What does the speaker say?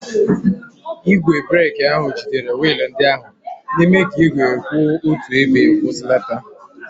Igwe breeki ahụ jidere wiil ndị ahụ, na-eme ka igwe kwụ otu ebe kwụsịlata.